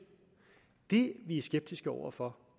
det vi er skeptiske over for